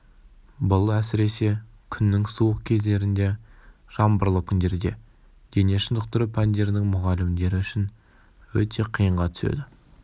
бұл әсіресе күннің суық кездерінде жаңбырлы күндерде дене шынықтыру пәндерінің мұғалімдері үшін өте қиынға түседі